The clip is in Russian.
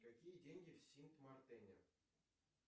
какие деньги в синт мартене